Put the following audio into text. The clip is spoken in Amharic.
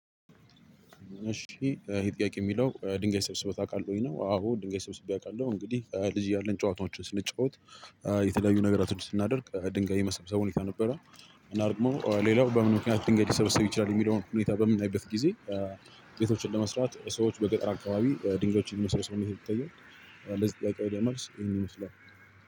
እሺ ይሄ ጥያቄ የሚለው ድንጋይ ሰብስበህ ታውቃለህ? ነው። አዎ ድንጋይ ሰብስቤ አውቃለሁ። እንግዲህ ልጅ እያለን ጨዋታዎችን ስንጫወት የተለያዩ ነገራቶችን ስናደርግ ድንጋይ የመሰብሰብ ሁኔታ ነበረ። እና ደግሞ ሌላው በምን ምክንያት ድንጋይ ሊሰበሰብ ይችላል? የሚለውን ሁኔታ በምናይበት ጊዜ ቤቶችን ለመስራት ሰዎች በገጠር አካባቢ ድንጋዮችን የመሰብሰብ ሁኔታ ይታያል። ለዚህ ጥያቄ ወደ መልስ ይሄን ይመስላል።